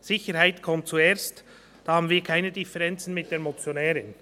Sicherheit kommt zuerst, da haben wir keine Differenzen mit der Motionärin.